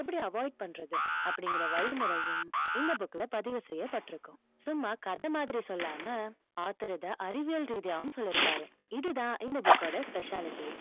எப்படி avoid பண்றது, அப்படிங்கற வழிமுறையும், இந்த book ல பதிவு செய்யப்பட்டிருக்கும். சும்மா கதை மாதிரி சொல்லாம author இதை அறிவியல் ரீதியாவும் சொல்லி இருப்பாரு. இதுதான் இந்த book கோட speciality யே.